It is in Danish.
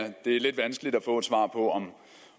at det er lidt vanskeligt at få et svar på om